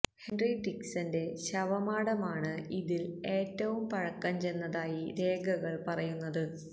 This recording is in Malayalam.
ഹെന്റി ടിക്സണ് ന്റെ ശവമാടമാണ് ഇതില് ഏറ്റവും പഴക്കം ചെന്നതായി രേഖകള് പറയുന്നത്